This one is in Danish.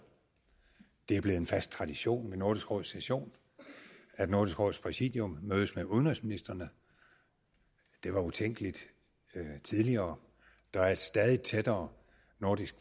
det er blevet en fast tradition ved nordisk råds session at nordisk råds præsidium mødes med udenrigsministrene det var utænkeligt tidligere der er et stadig tættere nordisk